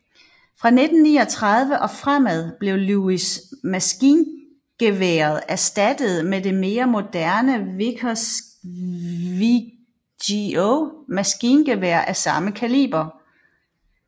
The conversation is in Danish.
Fra 1939 og fremad blev Lewis maskingeværet erstattet med det mere moderne Vickers VGO maskingevær af samme kaliber